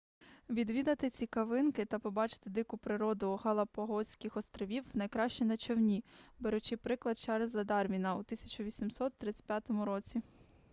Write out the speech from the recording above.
відвідати цікавинки та побачити дику природу галапагоських островів найкраще на човні беручи приклад чарльза дарвіна у 1835 році